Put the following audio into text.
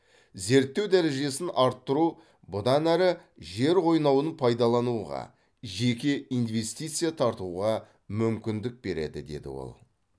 зерттеу дәрежесін арттыру бұдан әрі жер қойнауын пайдалануға жеке инвестиция тартуға мүмкіндік береді деді ол